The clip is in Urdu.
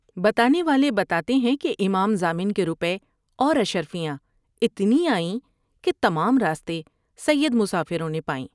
بتانے والے بتاتے ہیں کہ امام ضامن کے روپے اور اشرفیاں اتنی آئیں کہ تمام راستے سید مسافروں نے پائیں ۔